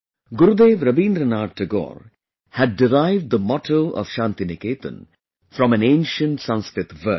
Gurudev Rabindranath Tagore had derived the motto of Shantiniketan from an ancient Sanskrit verse